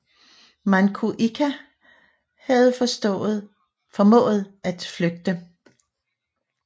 Manco Inca havde formået at flygte